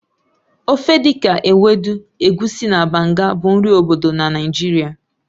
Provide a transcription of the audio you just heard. Ofe dị ka Ewedu, Egusi, na Banga bụ nri obodo na Naịjirịa